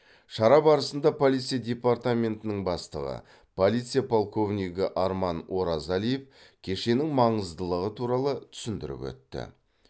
шара барысында полиция департаментінің бастығы полиция полковнигі арман оразалиев кешеннің маңыздылығы туралы түсіндіріп өтті